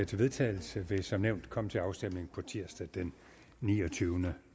til vedtagelse vil som nævnt komme til afstemning på tirsdag den niogtyvende